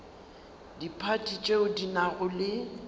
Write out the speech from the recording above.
diphathi tšeo di nago le